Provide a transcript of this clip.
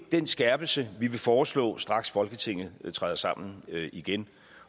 den skærpelse vi vil foreslå straks folketinget træder sammen igen